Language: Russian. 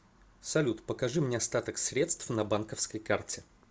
салют покажи мне остаток средств на банковской карте